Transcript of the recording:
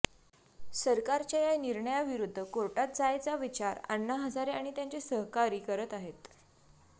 सरकारच्या या निर्णयाविरुद्ध कोर्टात जायचा विचार अण्णा हजारे आणि त्यांचे सहकारी करत आहेत